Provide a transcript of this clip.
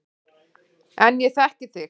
En ég þekki þig.